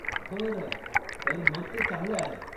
बरं, तर मग ते चांगलं आहे.